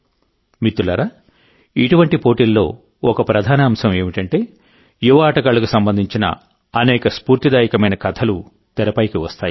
మిత్రులారాఇటువంటి టోర్నమెంట్లలో ఒక ప్రధాన అంశం ఏమిటంటే యువ ఆటగాళ్లకు సంబంధించిన అనేక స్ఫూర్తిదాయకమైన కథలు తెరపైకి వస్తాయి